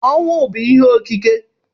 Ọnwụ bụ ihe okike